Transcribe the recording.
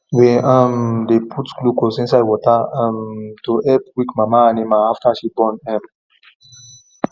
we um dey put glucose inside water um to help weak mama animal after she born um